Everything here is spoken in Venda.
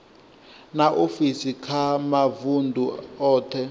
na ofisi kha mavundu othe